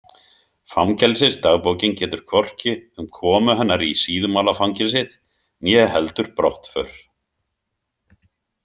Fangelsisdagbókin getur hvorki um komu hennar í Síðumúlafangelsið né heldur brottför.